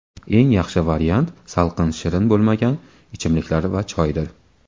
Eng yaxshi variant salqin shirin bo‘lmagan ichimliklar va choydir.